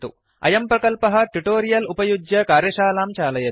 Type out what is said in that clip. अयं प्रकल्पः ट्युटोरियल उपयुज्य कार्यशालां चालयति